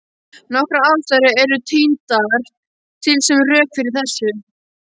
Nokkrar ástæður eru tíndar til sem rök fyrir þessu.